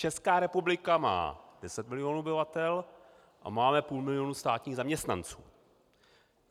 Česká republika má 10 milionů obyvatel a máme půl milionu státních zaměstnanců.